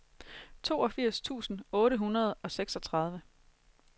toogfirs tusind otte hundrede og seksogtredive